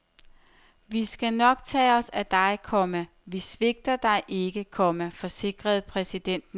Vi skal nok tage os af dig, komma vi svigter dig ikke, komma forsikrede præsidenten ham. punktum